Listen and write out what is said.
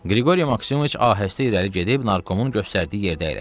Qriqori Maksimoviç ahəstə irəli gedib narkomun göstərdiyi yerdə əyləşdi.